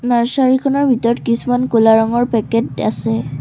নাৰ্ছাৰীখনৰ ভিতৰত কিছুমান ক'লা ৰঙৰ পেকেট আছে।